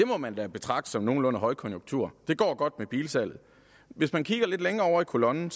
må man da betragte som nogenlunde højkonjunktur det går godt med bilsalget hvis man kigger lidt længere over i kolonnen